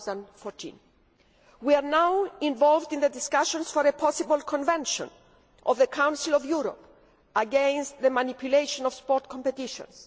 2014. We are now involved in discussions for a possible Convention of the Council of Europe against the manipulation of sports competitions.